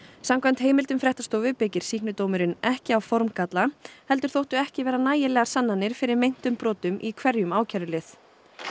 samkvæmt heimildum fréttastofu byggir sýknudómurinn ekki á formgalla heldur þóttu ekki vera nægilegar sannanir fyrir meintum brotum í hverjum ákærulið